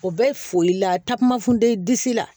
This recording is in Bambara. O bɛ foli la takuma funteni disi la